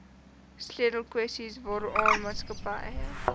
sleutelkwessies waaraan maatskappye